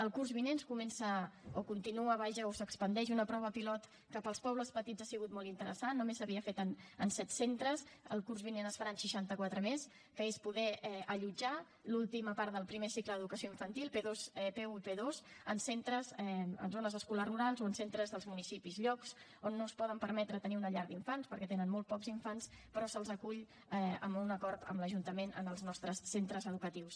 el curs vinent comença o continua vaja o s’expandeix una prova pilot que per als pobles petits ha sigut molt interessant només s’havia fet en set centres el curs vinent es farà en seixanta quatre més que és poder allotjar l’última part del primer cicle d’educació infantil p1 i p2 en centres en zones escolars rurals o en centres dels municipis llocs on no es poden permetre tenir una llar d’infants perquè tenen molt pocs infants però se’ls acull amb un acord amb l’ajuntament en els nostres centres educatius